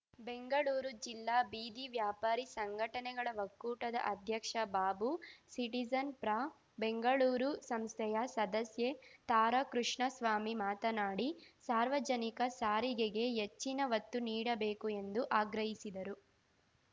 ಬೆಂಗಳೂರು ಜಿಲ್ಲಾ ಬೀದಿ ವ್ಯಾಪಾರಿ ಸಂಘಟನೆಗಳ ಒಕ್ಕೂಟದ ಅಧ್ಯಕ್ಷ ಬಾಬು ಸಿಟಿಜನ್ ಪ್ರಾ ಬೆಂಗಳೂರು ಸಂಸ್ಥೆಯ ಸದಸ್ಯೆ ತಾರಾ ಕೃಷ್ಣಸ್ವಾಮಿ ಮಾತನಾಡಿ ಸಾರ್ವಜನಿಕ ಸಾರಿಗೆಗೆ ಎಚ್ಚಿನ ಒತ್ತು ನೀಡಬೇಕು ಎಂದು ಆಗ್ರಹಿಸಿದರು